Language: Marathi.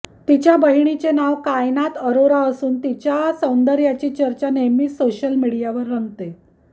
तिच्या बहिणीचे नाव कायनात अरोरा असून तिच्या सौंदर्याची चर्चा नेहमीच सोशल मीडियावर रंगते